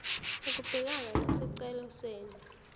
ukubhekana nesicelo senu